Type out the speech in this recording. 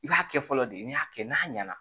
I b'a kɛ fɔlɔ de n'i y'a kɛ n'a ɲɛna